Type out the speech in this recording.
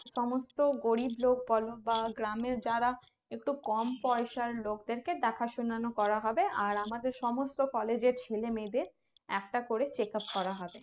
সমস্ত গরিব লোক বলো বা গ্রামের যারা একটু কম পয়সার লোকদেরকে দেখাশোনা করা হবে আর আমাদের সমস্ত college এর ছেলে মেয়ে দেরকে একটা করে check up করা হবে